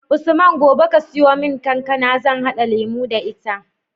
Usman gobe ka siyo mun kankAna zan hada lemo da ita